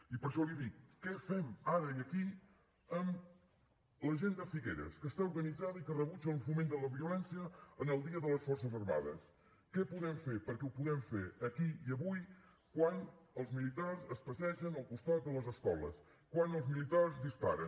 i per això li dic què fem ara i aquí amb la gent de figueres que està organitzada i que rebutja el foment de la violència en el dia de les forces armades què podem fer perquè ho podem fer aquí i avui quan els militars es passegen al costat de les escoles quan els militars disparen